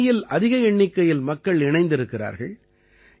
இந்த அணியில் அதிக எண்ணிக்கையில் மக்கள் இணைந்திருக்கிறார்கள்